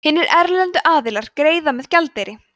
hinir erlendu aðilar greiða með gjaldeyri